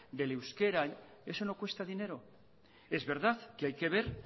del euskera eso no cuesta dinero es verdad que hay que ver